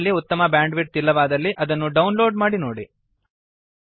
ನಿಮಲ್ಲಿ ಉತ್ತಮ ಬ್ಯಾಂಡ್ವಿಡ್ತ್ ಇಲ್ಲವಾದಲ್ಲಿ ಇದನ್ನು ಡೌನ್ ಲೋಡ್ ಮಾಡಿ ನೋಡಿ